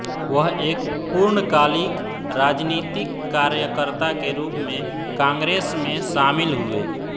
वह एक पूर्णकालिक राजनीतिक कार्यकर्ता के रूप में कांग्रेस में शामिल हुए